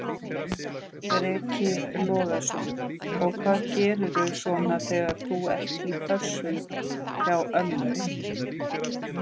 Breki Logason: Og hvað gerirðu svona þegar þú ert í pössun hjá ömmu?